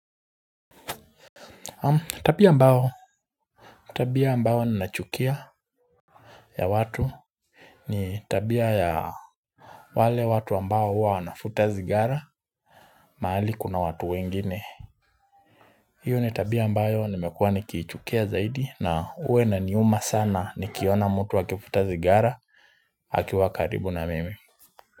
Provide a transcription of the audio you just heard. Tabia ambao tabia ambao ninachukia ya watu ni tabia ya wale watu ambao huwa wanavuta sigara mahali kuna watu wengine hiyo ni tabia ambayo nimekuwa nikiichukia zaidi na huwa inaniuma sana nikiona mtu akivuta sigara akiwa karibu na mimi.